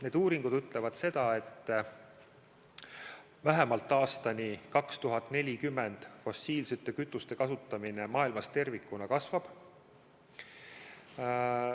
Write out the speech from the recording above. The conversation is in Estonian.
Need uuringud ütlevad, et vähemalt aastani 2040 fossiilsete kütuste kasutamine maailmas tervikuna kasvab.